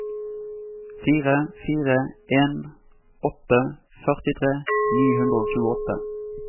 fire fire en åtte førtitre ni hundre og tjueåtte